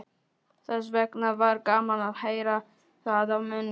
Þessvegna var gaman að heyra það af munni